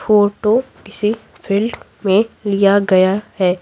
Photo किसी field में लिया गया है।